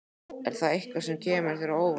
Er það eitthvað sem kemur þér á óvart?